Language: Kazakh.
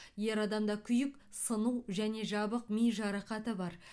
ер адамда күйік сыну және жабық ми жарақаты бар